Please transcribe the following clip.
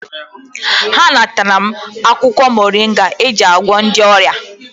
Ha natara m akwụkwọ moringa eji agwọ ndị ọrịa.